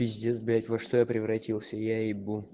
пиздец блять во что я превратился я ебу